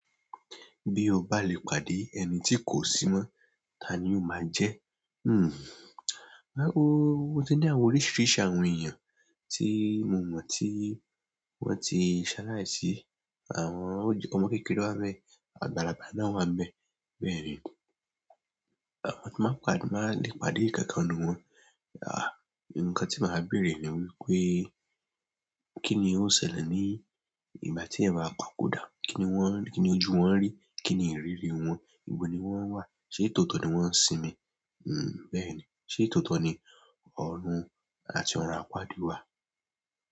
Bí o bá lè pàdé ẹni tí kò sí mọ́, ta ni o máa jẹ́? Hmm. Rárá o. O ti ní àwọn oríṣiríṣi àwọn èèyàn tí mo mọ̀ tí wọ́n ti ṣaláì sí, àwọn ómọ kékeré wá ni bẹ́ẹ̀, àgbàlagbà náà wá ni bẹ́ẹ̀. Bẹ́ẹ̀ni. Àwọn tí wọ́n máa ń pàdé, máa lè pàdé ikankan nínú wọn. Àh! Ǹkan tí màá bẹ̀re ni wípé kín ni ó ṣẹlẹ̀ ní ìgbà tí ẹ̀eyan bá papọ̀ dá. Kí ni wọ́n, kí ni ojú wọn rí? Kí ni ìrírí wọn? Ibo ni wọ́n wà? Ṣé tòótọ́ ni wọ n sinmi hmm. Bẹ́ẹ̀ni. Ṣé tòótọ́ ni ọ̀run àti ọ̀ràn àpáàdì wà?